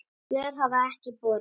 Svör hafa ekki borist.